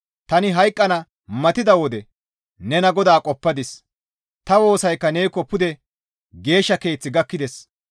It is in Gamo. «Tani hayqqana matida wode nena GODAA qoppadis. Ta woosaykka neekko pude geeshsha keeth gakkides.